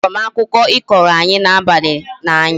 A hụrụ m akụkọ I kọrọ anyi n'abalị n'anya